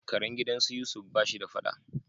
Karen gidan su Yusuf ba shi da fada.